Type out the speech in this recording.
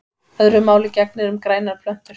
Öðru máli gegnir um grænar plöntur.